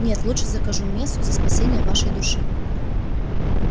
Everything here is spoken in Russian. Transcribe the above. нет лучше закажу мессу за спасение вашей души